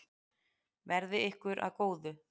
Verði ykkur að góðu.